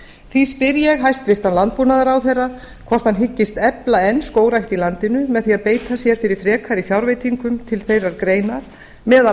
því spyr ég hæstvirtur landbúnaðarráðherra hvort hann hyggist enn efla skógrækt í landinu með því að beita sér fyrir frekari fjárveitingum til þeirrar greinar meðal